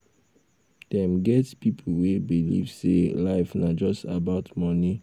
dem get pipo wey believe sey life na just about money